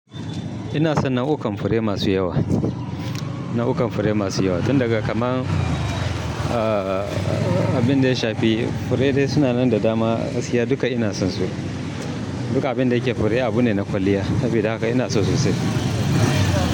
Ina son nau'ukan fure masu yawa, nau'ukan fure masu yawa. Tun daga kamar, aaah, abin da ya shafi fure dai suna nan da dama, gaskiya duka ina son su. Duka abin da yake fure abu ne na kwalliya. Sabida haka ina so sosai.